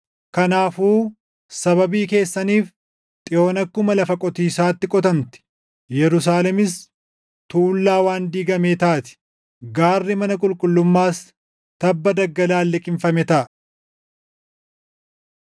Kanaafuu sababii keessaniif, Xiyoon akkuma lafa qotiisaatti qotamti; Yerusaalemis tuullaa waan diigamee taati; gaarri mana qulqullummaas tabba daggalaan liqimfame taʼa.